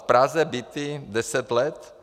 V Praze byty deset let.